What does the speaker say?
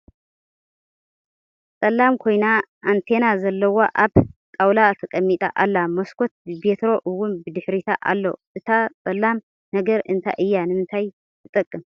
ፀላም ኮይና ኣንቴና ዘለዋ ኣብ ጣውላ ተቀሚጣ ኣላ ። መስኮት ብቤትሮ እውን ብድሕሪታ ኣሎ ። እታ ፀላም ነገር እንታይ እያ ?ንምንታይ ትጠቅም ?